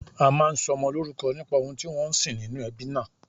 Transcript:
A máa ń sọmọ lórúkọ nípa ohun tí wọ́n ń sìn nínú ẹbí náà